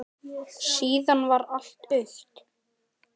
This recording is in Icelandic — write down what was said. Síðan varð allt autt.